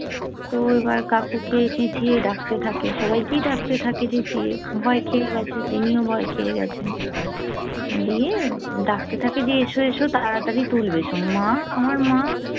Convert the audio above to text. তো এবার কাকুকে চেচিয়ে ডাকতে থাকে তো সবাইকেই ডাকতে থাকে চেঁচিয়ে ভয় খেয়ে গেছে তিনিও ভয় খেয়ে গেছেন দিয়ে ডাকতে থাকে যে এসো এসোতো এসো এসো তাড়াতাড়ি তুলবে মা আমার মা